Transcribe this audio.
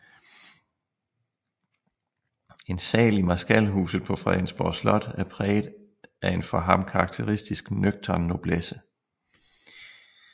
En sal i Marskalhuset på Fredensborg Slot er præget af en for ham karakteristisk nøgtern noblesse